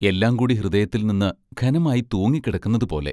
എല്ലാം കൂടി ഹൃദയത്തിൽ നിന്ന് ഘനമായി തൂങ്ങിക്കിടക്കുന്നതുപോലെ....